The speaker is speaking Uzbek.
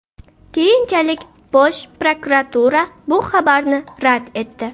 Keyinchalik Bosh prokuratura bu xabarni rad etdi .